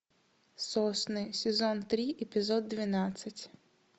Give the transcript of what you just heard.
сосны сезон три эпизод двенадцать